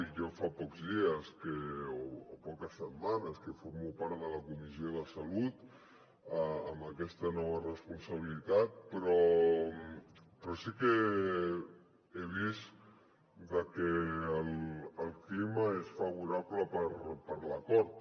i jo fa pocs dies o poques setmanes que formo part de la comissió de salut en aquesta nova responsabilitat però sí que he vist que el clima és favorable per a l’acord